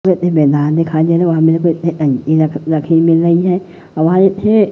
मैदान दिखाई दे रहे है वहां मेरे को टंकी र रखी मील रही है --